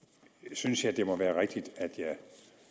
synes jeg det må være rigtigt at jeg